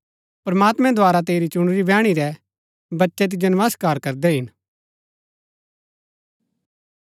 प्रमात्मैं द्धारा तेरी चुणुरी बैहणी रै बच्चै तिजो नमस्कार करदै हिन